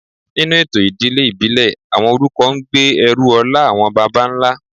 Nínú ètò ìdílé ìbílẹ̀, àwọn orúkọ ń gbé ẹrù ọlá àwọn baba ńlá